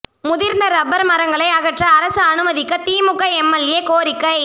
முதிா்ந்த rubber மரங்களை அகற்ற அரசு அனுமதிக்க திமுக எம்எல்ஏ கோரிக்கை